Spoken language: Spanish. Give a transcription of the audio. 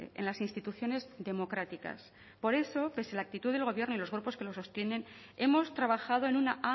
en las instituciones democráticas por eso pese a la actitud del gobierno y los grupos que lo sostienen hemos trabajado en una